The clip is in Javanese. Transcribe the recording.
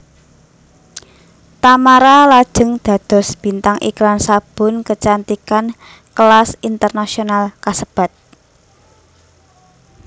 Tamara lajeng dados bintang iklan sabun kecantikan kelas internasional kasebat